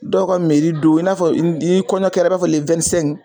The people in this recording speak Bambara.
Dɔw ka don i n'a fɔ n'i kɔɲɔ kɛra